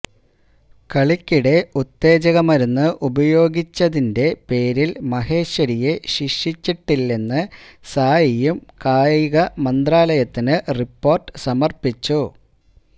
കളിക്കിടെ ഉത്തേജക മരുന്ന് ഉപയോഗിച്ചതിന്റെ പേരില് മഹേശ്വരിയെ ശിക്ഷിച്ചിട്ടില്ലെന്ന് സായിയും കായികമന്ത്രാലയത്തിന് റിപ്പോര്ട്ട് സമര്പ്പിച്ചു